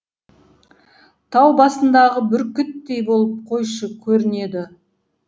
тау басындағы бүркіттей болып қойшы көрінеді